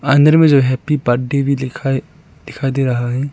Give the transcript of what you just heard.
अंदर में जो हैप्पी बर्थडे भी लिखा दिखाई दिखा दे रहा है।